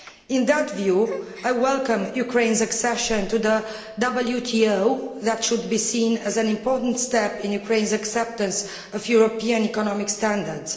In that context, I welcome Ukraine's accession to the WTO, which should be seen as an important step in Ukraine's acceptance of European economic standards.